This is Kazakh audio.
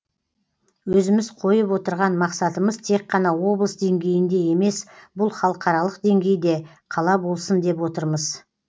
өзіміз қойып отырған мақсатымыз тек қана облыс деңгейінде емес бұл халықаралық деңгейде қала болсын деп отырмыз